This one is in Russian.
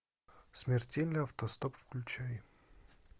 смертельный автостоп включай